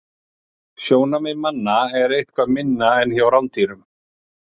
Sjónsvið manna er eitthvað minna en hjá rándýrum.